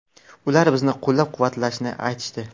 Ular bizni qo‘llab-quvvatlashni aytishdi.